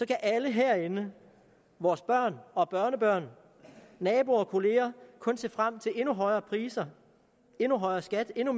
kan alle herinde vores børn og børnebørn naboer og kollegaer kun se frem til endnu højere priser endnu højere skat endnu